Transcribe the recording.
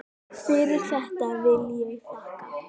Fyrir þetta vil ég þakka.